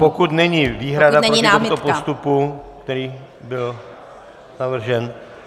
Pokud není výhrada proti tomuto postupu, který byl navržen?